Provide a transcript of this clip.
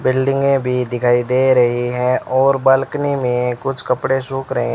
बिल्डिंगे भी दिखाई दे रही है और बालकनी में कुछ कपड़े सूख रहे--